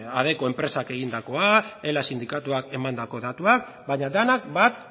adecco enpresak egindakoa ela sindikatuak emandako datuak baina denak bat